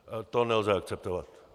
To nelze akceptovat.